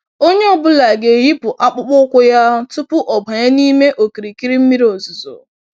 Onyé ọ bụla ga-eyipụ akpụkpọ ụkwụ yá tupu ọ banye nime okirikiri mmiri ozuzo.